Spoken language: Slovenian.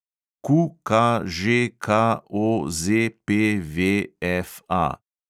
QKŽKOZPVFA